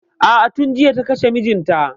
A'a tun jiya ta kashe mijinta.